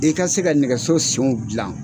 I ka se ka nɛgɛso senw dilan.